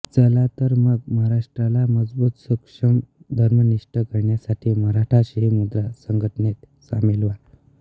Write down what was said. चला तर मग महाराष्ट्राला मजबुत सक्षम धर्मनिष्ठ करण्यासाठी मराठा शिवमुद्रा संघटनेत सामील व्हा